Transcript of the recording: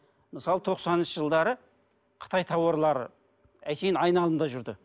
мысалы тоқсаныншы жылдары қытай тауарлары әншейін айналымда жүрді